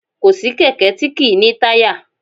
Kò sí kẹ̀kẹ́ tí kì í ní táyà